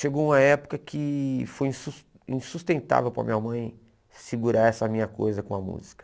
Chegou uma época que foi insus insustentável para minha mãe segurar essa minha coisa com a música.